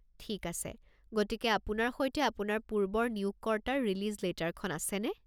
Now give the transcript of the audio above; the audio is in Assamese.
ঠিক আছে, গতিকে আপোনাৰ সৈতে আপোনাৰ পূৰ্বৰ নিয়োগকৰ্তাৰ ৰিলিজ লেটাৰখন আছেনে?